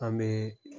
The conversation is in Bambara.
An bɛ